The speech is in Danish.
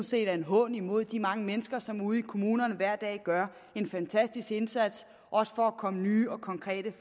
set er en hån mod de mange mennesker som ude i kommunerne gør en fantastisk indsats også for at komme med nye og konkrete